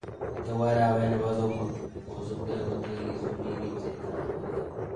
Nitok ko arawet nebo somok kosubkei akotakisubi ripsetab borto